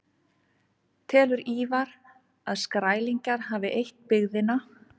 Telur Ívar að Skrælingjar hafi eytt byggðina.